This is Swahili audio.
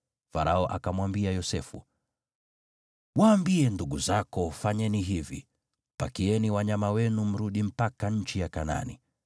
Farao akamwambia Yosefu, “Waambie ndugu zako, ‘Fanyeni hivi: Pakieni wanyama wenu mrudi mpaka nchi ya Kanaani,